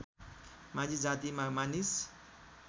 माझी जातिमा मानिस